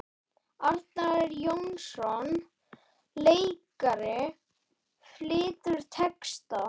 Arnar Jónsson leikari flytur texta.